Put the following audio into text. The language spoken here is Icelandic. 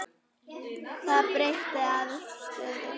Það breytti afstöðu hans.